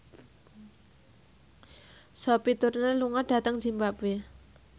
Sophie Turner lunga dhateng zimbabwe